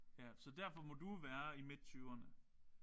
Ja så derfor må du være i midt tyverne